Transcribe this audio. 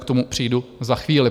K tomu přijdu za chvíli.